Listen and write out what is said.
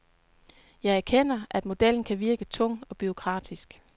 Jeg erkender, at modellen kan virke tung og bureaukratisk.